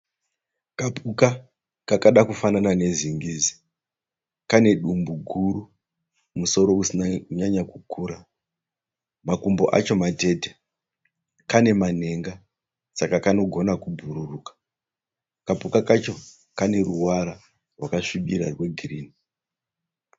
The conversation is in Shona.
Kapuka kakada kufanana nezingizi. Kanedumbu guru, musoro usina kunyanya kukura. Makumbo acho matete. Kane manhenga saka kanogona kubhururuka. Kapuka kacho kane ruvara rwakasvira rwe girini.